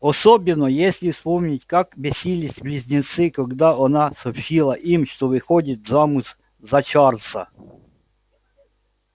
особенно если вспомнить как бесились близнецы когда она сообщила им что выходит замуж за чарлза